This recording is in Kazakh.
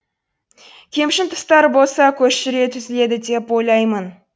кемшін тұстары болса көш жүре түзеледі деп ойлаймын